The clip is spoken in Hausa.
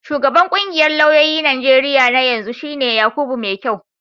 Shugaban ƙungiyar lauyoyin Najeriya na yanzu shi ne Yakubu Maikyau.